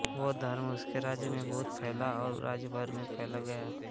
बौद्ध धर्म उसके राज्य में बहुत फैला और राज्य भर में फैल गया